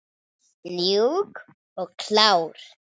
Mjúk og klár!